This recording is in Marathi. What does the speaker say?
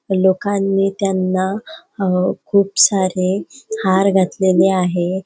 लोकांनी त्यांना अ खूप सारे हार घातलेले आहे.